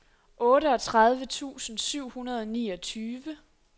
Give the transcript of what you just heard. otteogtredive tusind syv hundrede og niogtyve